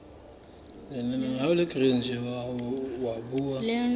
leanong la naha la puo